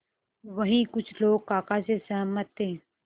वहीं कुछ लोग काका से सहमत थे